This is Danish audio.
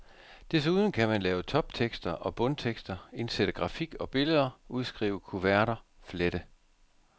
Desuden kan man lave toptekster og bundtekster, indsætte grafik og billeder, udskrive kuverter, flette.